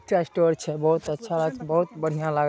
चाय स्टोर छै। बहुत अच्छा बोहत बढ़िया लागे--